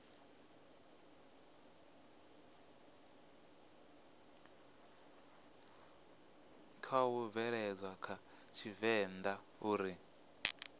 khou bveledzwa a tshivenḓa uri